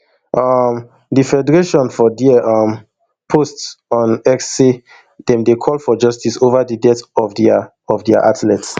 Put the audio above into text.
um di federationfor dia um post on x say dem dey call for justice over di death of dia of dia athlete